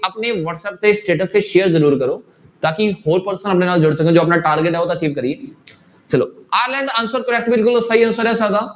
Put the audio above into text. ਆਪਣੇ ਵਾਟਸੈਪ ਤੇ status ਤੇ share ਜ਼ਰੂਰ ਕਰੋ ਤਾਂ ਕਿ ਹੋਰ person ਆਪਣੇ ਨਾਲ ਜੁੜ ਸਕਣ ਜੋ ਆਪਣਾ target ਆ ਉਹ ਤਾਂ ਅਚੀਬ ਕਰੀਏ ਚਲੋ ਆਇਰਲੈਂਡ ਤਾਂ answer correct ਬਿਲਕੁਲ ਉਹ ਸਹੀ answer ਹੈ ਸਾਡਾ